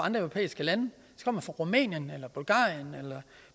europæiske lande som rumænien bulgarien eller